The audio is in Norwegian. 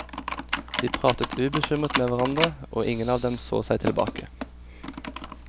De pratet ubekymret med hverandre, og ingen av dem så seg tilbake.